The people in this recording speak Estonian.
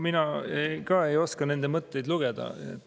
Mina ka ei oska nende mõtteid lugeda.